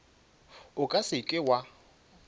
o ka se ke wa